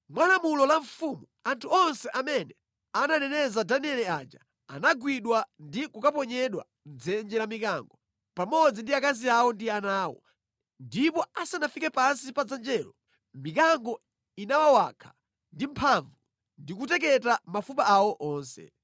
Mwa lamulo la mfumu, anthu onse amene ananeneza Danieli aja anagwidwa ndi kukaponyedwa mʼdzenje la mikango, pamodzi ndi akazi awo ndi ana awo. Ndipo asanafike pansi pa dzenjelo, mikango inawawakha ndi mphamvu ndi kuteketa mafupa awo onse.